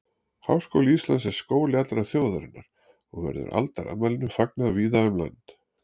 Háskóli Íslands er skóli allrar þjóðarinnar og verður aldarafmælinu fagnað víða um land.